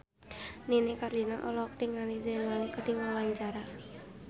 Nini Carlina olohok ningali Zayn Malik keur diwawancara